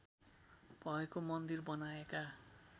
भएको मन्दिर बनाएका